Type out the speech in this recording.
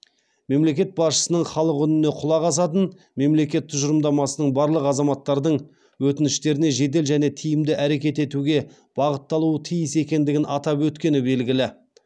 мемлекет басшысының халық үніне құлақ асатын мемлекет тұжырымдамасының барлық азаматтардың өтініштеріне жедел және тиімді әрекет етуге бағытталуы тиіс екендігін атап өткені белгілі